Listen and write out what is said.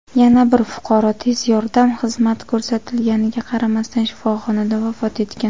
yana bir fuqaro tez yordam xizmati ko‘rsatilganiga qaramasdan shifoxonada vafot etgan.